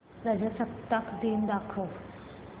प्रजासत्ताक दिन दाखव